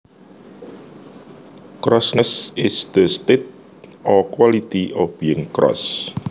Crossness is the state or quality of being cross